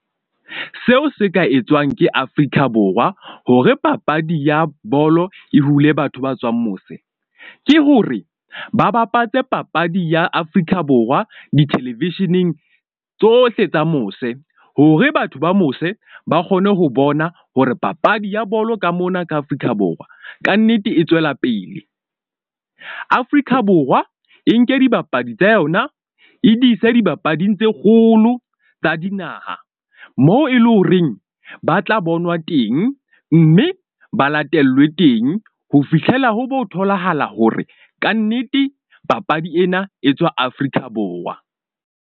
Seo se ka etswang ke Afrika Borwa hore papadi ya bolo e hule batho ba tswang mose. Ke hore ba bapatse papadi ya Afrika Borwa di-television-eng tsohle tsa mose, hore batho ba mose ba kgone ho bona hore papadi ya bolo ka mona ka Afrika Borwa. Kannete e tswela pele. Afrika Borwa e nke dibapadi tsa yona e di ise dibapading tse kgolo tsa dinaha, moo e lo reng ba tla bonwa teng. Mme ba latellwe teng ho fihlela ho bo tholahala hore kannete papadi ena e tswa Afrika Borwa.